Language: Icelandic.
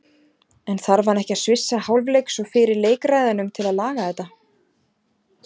En þarf hann ekki að svissa hálfleiks og fyrir leik ræðunum til að laga þetta?